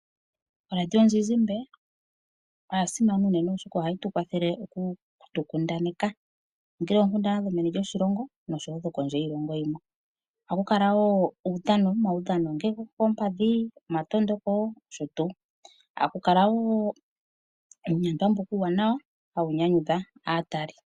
Oradio yomuzizimbe oya simana unene oshoka ohayi tu kwathele oku tu kundaneka, ongele oonkundana dhomeni lyoshilongo noshowo dhokondje yiilongo yimwe, ohaku kala wo omaudhano, ongele gokoompadhi, omatondokonosho tuu. Ohaku kala wo uunyandwa mboka uuwanawa hawu nyanyudha aatali.